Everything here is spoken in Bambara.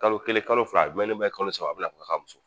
Kalo kelen kalo fila a ye kalo saba a bina fɔ ka muso.